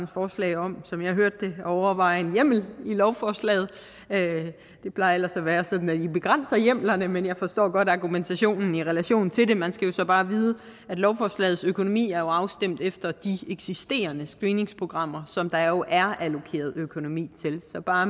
forslag om at overveje en hjemmel i lovforslaget det plejer ellers at være sådan at i begrænser hjemlerne men jeg forstår godt argumentationen i relation til det man skal så bare vide at lovforslagets økonomi jo er afstemt efter de eksisterende screeningsprogrammer som der jo er allokeret økonomi til så bare